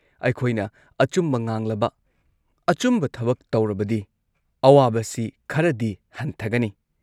ꯑꯩꯈꯣꯏꯅ ꯑꯆꯨꯝꯕ ꯉꯥꯡꯂꯕ, ꯑꯆꯨꯝꯕ ꯊꯕꯛ ꯇꯧꯔꯕꯗꯤ ꯑꯋꯥꯕꯁꯤ ꯈꯔꯗꯤ ꯍꯟꯊꯒꯅꯤ꯫